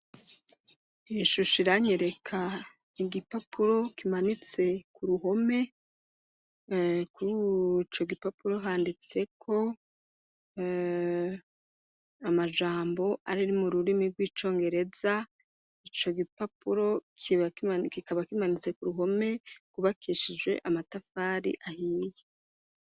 Ishusho iranyereka igipapuro kimanitse ku ruhome ,kurico gipapuro handitseko amajambo ari mu rurimi rw'icongereza ,ico gipapuro kikaba kimanitse ku ruhome rwubakishije amatafari ahiye.